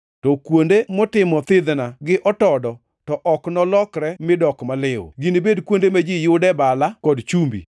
To kuonde motimo thidhna gi otodo, to ok nolokre mi dok maliw. Ginibed kuonde ma ji yude bala kod chumbi.